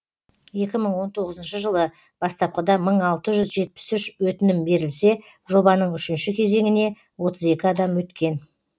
екі мың он тоғызыншы жылы бастапқыда мың алты жүз жетпіс үш өтінім берілсе жобаның үшінші кезеңіне отыз екі адам өткен